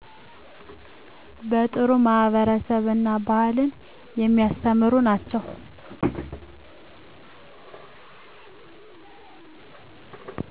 በጥሩ ማህበረሰብ እና ባህልን የሚያስተምሩ ናቸው